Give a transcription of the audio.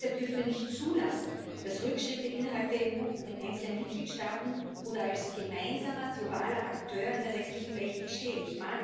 Deshalb dürfen wir nicht zulassen, dass Rückschritte innerhalb der EU in einzelnen Mitgliedstaaten oder als gemeinsamer globaler Akteur in der restlichen Welt geschehen.